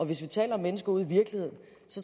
vi taler om mennesker ude i virkeligheden